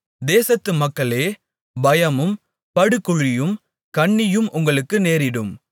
தேசத்து மக்களே பயமும் படுகுழியும் கண்ணியும் உங்களுக்கு நேரிடும்